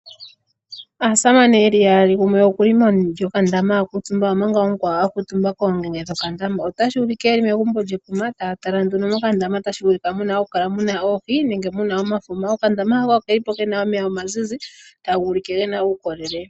Aasamane yeli yaali. Gumwe okuli meni lyo ka ndama okuutumba, omanga omukwawo a kutumba ko mu nyonyolo go kandama. Otashi u like yeli megumbo lye kuma, ta ya tala nduno mo kandama tashi vulika oku kala muna oohi nenge muna omafuma. Oka ndama hoka okeli po kena omeya omazizi, taga u like gena uukolele.